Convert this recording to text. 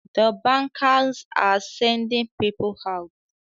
The bankers are sending people out